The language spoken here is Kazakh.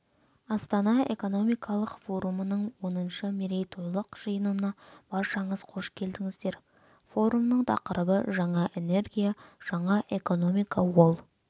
астана экономикалық форумының оныншы мерейтойлық жиынына баршаңыз қош келдіңіздер форумның тақырыбы жаңа энергия жаңа экономика ол